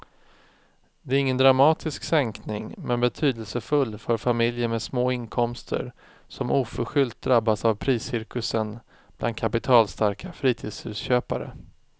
Det är ingen dramatisk sänkning men betydelsefull för familjer med små inkomster som oförskyllt drabbats av priscirkusen bland kapitalstarka fritidshusköpare.